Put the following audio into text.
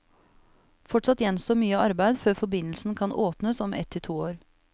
Fortsatt gjenstår mye arbeid før forbindelsen kan åpnes om ett til to år.